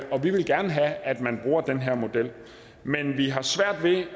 vi vil gerne have at man bruger den her model men vi har svært ved